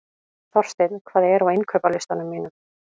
Þorsteinn, hvað er á innkaupalistanum mínum?